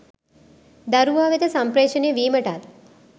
දරුවා වෙත සම්ප්‍රේෂණය වීමටත්